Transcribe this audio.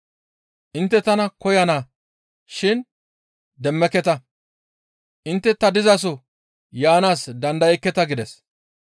Intte tana koyana shin demmeketa; intte ta dizaso yaanaas dandayekketa» gides.